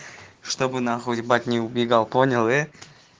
чтобы нахуй ебать не убегал понял